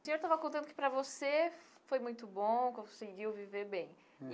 O senhor estava contando que para você foi muito bom, conseguiu viver bem.